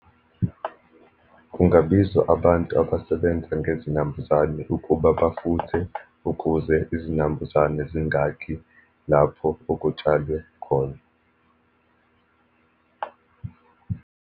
Kungabizwa abantu abasebenza ngezinambuzane ukuba bafuthe, ukuze izinambuzane zingakhi lapho okutshalwe khona.